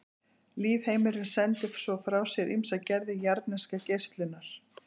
Lífheimurinn sendir svo frá sér ýmsar gerðir jarðneskrar geislunar.